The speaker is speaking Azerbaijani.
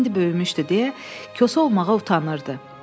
İndi böyümüşdü deyə kosa olmağa utanırdı.